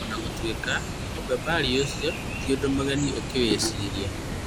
ona gũtuĩka ũmbepari ũcio ti ũndũ mũgeni ũkĩwiciria